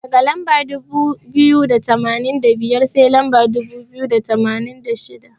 Daga lamba dubu biyu da tamanin da biyar, sai lamba dubu biyu da tamanin da shida.